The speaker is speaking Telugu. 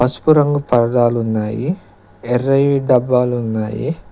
పసుపు రంగు పరదాలున్నాయి ఎర్రవి డబ్బాలున్నాయి.